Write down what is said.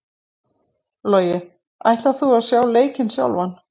Logi: Ætlar þú að sjá leikinn sjálfan?